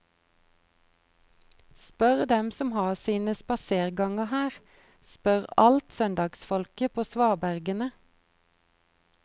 Spør dem som har sine spaserganger her, spør alt søndagsfolket på svabergene.